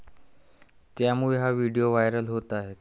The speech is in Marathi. त्यामुळे हा व्हिडिओ व्हायरल होत आहे.